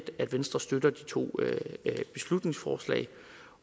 at venstre støtter de to beslutningsforslag